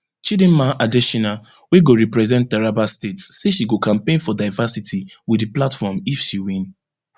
chidimma adetshina wey go represent taraba state say she go campaign for diversity wit di platform if she win